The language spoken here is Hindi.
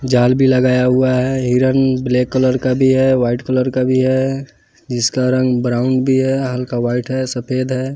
जाल भी लगाया हुआ है हिरन ब्लैक कलर का भी है वाइट कलर का भी है जिसका रंग ब्राउन भी है हल्का वाइट है सफेद है।